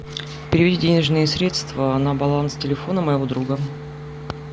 переведи денежные средства на баланс телефона моего друга